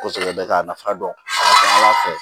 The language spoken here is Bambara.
Kosɛbɛ bɛ k'a nafa dɔn a ka ca ala fɛ